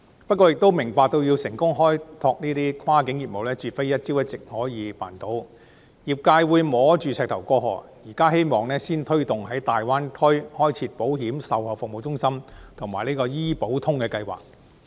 不過，業界亦明白開拓跨境業務絕非一朝一夕就可以辦到，業界會摸着石頭過河，現時希望先推動在大灣區開設保險售後服務中心及"醫保通"計劃。